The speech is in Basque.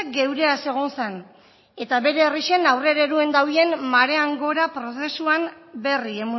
geureaz egon zen eta bere herreixen aurrera eruen dabien marean gora prozesuaren berri